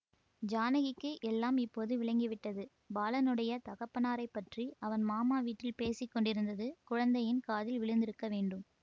ஜானகிக்கு எல்லாம் இப்போது விளங்கி விட்டது பாலனுடைய தகப்பனாரைப் பற்றி அவன் மாமா வீட்டில் பேசி கொண்டிருந்தது குழந்தையின் காதில் விழுந்திருக்க வேண்டும்